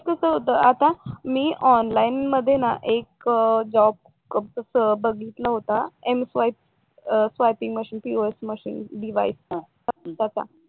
काय काय वेळेस कस होत आता मी ऑनलाईन मध्ये ना एक जॉब बघितला होता m swiping machine pos machine device चा तसा